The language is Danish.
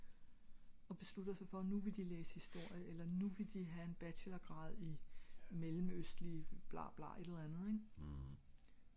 og beslutter sig for at nu vil de læse historie eller nu vil de ha en bachelorgrad i mellemøstlige blah blah et eller andet ing?